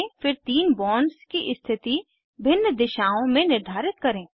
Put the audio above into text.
फिर तीन बॉन्ड्स की स्थिति भिन्न दिशाओं में निर्धारित करें